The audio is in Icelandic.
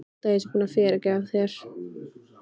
Ekki halda að ég sé búin að fyrirgefa þér.